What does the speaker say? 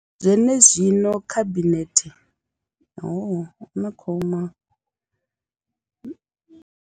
Zwenezwino, khabinethe yo.